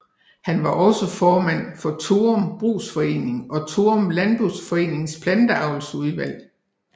Han var også formand for Thorum Brugsforening og Thorum Landboforenings Planteavlsudvalg